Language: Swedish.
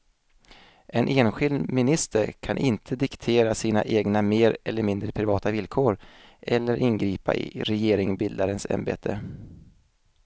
En enskild minister kan inte diktera sina egna mer eller mindre privata villkor eller ingripa i regeringsbildarens ämbete.